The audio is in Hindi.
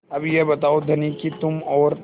अब यह बताओ धनी कि तुम और